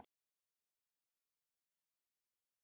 Ferð gegnum nóttina